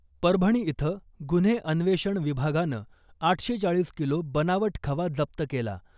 परभणी इथं गुन्हे अन्वेषण विभागानं आठशे चाळीस किलो बनावट खवा जप्त केला .